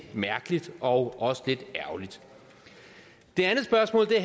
mærkeligt og også lidt ærgerligt det